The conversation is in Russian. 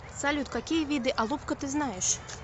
салют какие виды алупка ты знаешь